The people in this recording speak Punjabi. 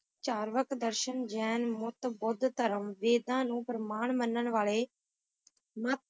ਚਾਰ ਕਵਾਲ ਸ਼ਰੀਫ ਜੇਲ ਮੋਟਾਮਿਦ ਇਹ ਉਹ ਹਨ ਜੋ ਅਭਿਲਾਸ਼ੀ ਹਨ